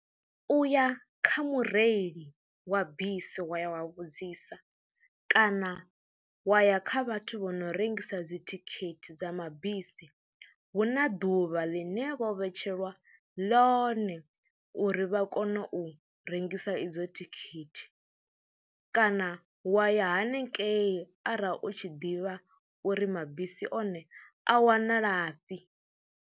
U ya kha mureili wa bisi wa ya wa vhudzisa kana wa ya kha vhathu vho no rengisa dzithikhithi dza mabisi hu na ḓuvha ḽine vho vhetshelwa ḽone uri vha kone u rengisa idzo thikhithi kana wa ya hanengei arali u tshi ḓivha uri mabisi one a wanalafhi.